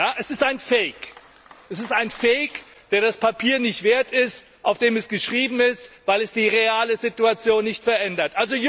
Es ist ein Fake, der das Papier nicht wert ist, auf dem er geschrieben ist, weil er die reale Situation nicht verändert.